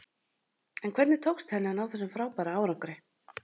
En hvernig tókst henni að ná þessum frábæra árangri?